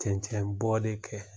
Cɛncɛnbɔ de kɛ